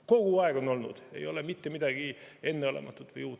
Kogu aeg on olnud, siin ei ole mitte midagi enneolematut või uut.